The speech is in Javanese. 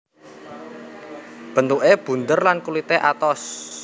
Bentuké bunder lan kulité atos